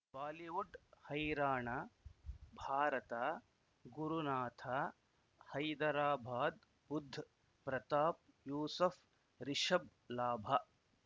Bollywood ಹೈರಾಣ ಭಾರತ ಗುರುನಾಥ ಹೈದರಾಬಾದ್ ಬುಧ್ ಪ್ರತಾಪ್ ಯೂಸುಫ್ ರಿಷಬ್ ಲಾಭ